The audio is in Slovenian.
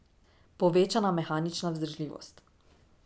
Povečana mehanična vzdržljivost.